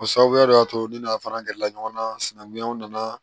O sababuya de y'a to ne n'a fara gɛrɛla ɲɔgɔn na sinankunya nana